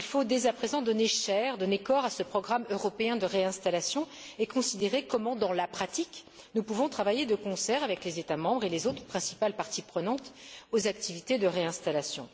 Il faut dès à présent donner chair, donner corps à ce programme européen de réinstallation et considérer comment, dans la pratique, nous pouvons travailler de concert avec les États membres et les autres principales parties prenantes aux activités de réinstallation.